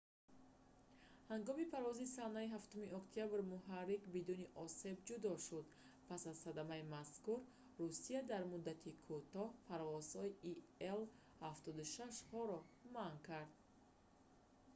ҳангоми парвози санаи 7 октябр муҳаррик бидуни осеб ҷудо шуд. пас аз садамаи мазкур русия дар муддати кӯтоҳ парвозҳои ил-76-ҳоро манъ кард